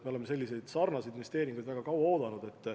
Me oleme selliseid investeeringuid väga kaua oodanud.